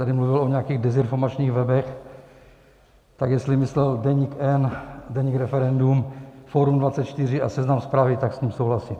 Tady mluvil o nějakých dezinformačních webech, tak jestli myslel Deník N, Deník Referendum, Forum24 a Seznam Zprávy, tak s tím souhlasím.